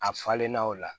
A falenna o la